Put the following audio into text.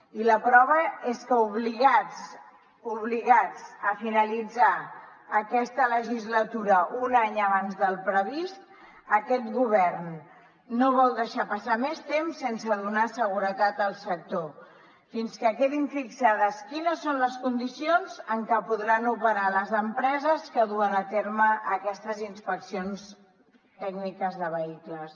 i la prova és que obligats obligats a finalitzar aquesta legislatura un any abans del previst aquest govern no vol deixar passar més temps sense donar seguretat al sector fins que quedin fixades quines són les condicions en què podran operar les empreses que duen a terme aquestes inspeccions tècniques de vehicles